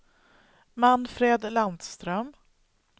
Manfred Landström